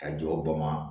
Ka jɔ bama